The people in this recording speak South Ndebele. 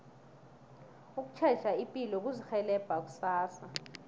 ukutjheja ipilo kuzirhelebha kusasa